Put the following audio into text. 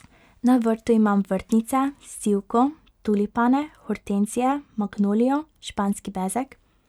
Na vrtu imam vrtnice, sivko, tulipane, hortenzije, magnolijo, španski bezeg ...